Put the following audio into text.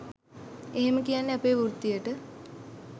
එහෙම කියන්නේ අපේ වෘත්තියට